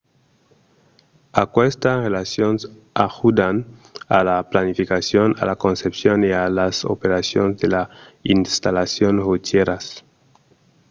aquestas relacions ajudan a la planificacion a la concepcion e a las operacions de las installacions rotièras